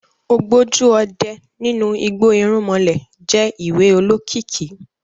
Ògbójú ọdẹ nínú igbó irúnmalẹ̀ je ìwé olokiki